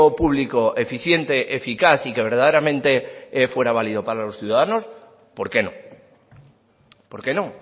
público eficiente eficaz y que verdaderamente fuera válido para los ciudadanos por qué no por qué no